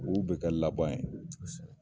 Olu bɛ kɛ laban ye.